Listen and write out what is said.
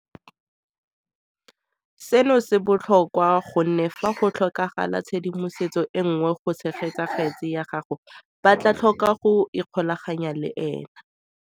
Seno se botlhokwa gonne fa go tlhokagala tshedimosetso e nngwe go tshegetsa kgetse ya gagwe ba tla tlhoka go ikgolaganya le ene.